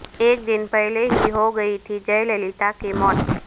ایک دن پہلے ہی ہوگئی تھی جے للیتا کی موت